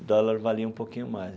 O dólar valia um pouquinho mais.